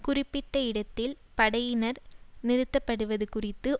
குறிப்பிட்ட இடத்தில் படையினர் நிறுத்தப்படுவது குறித்து